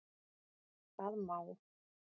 Það má